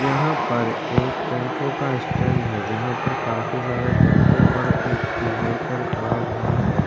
यहाँ पर एक टेम्पू का स्टैंड है जहाँ पर काफी सारा टेम्पू और इ व्हीकल खड़ा हुआ है।